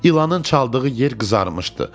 İlanın çaldığı yer qızarmışdı.